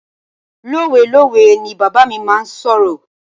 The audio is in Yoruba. Lowelowe ni bàbá mi máa ń sọ̀rọ̀.